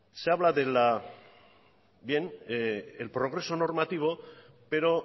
se habla del progreso normativo pero